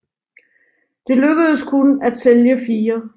Det lykkedes kun at sælge fire